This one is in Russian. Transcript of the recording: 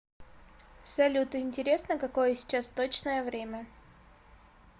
салют интересно какое сейчас точное время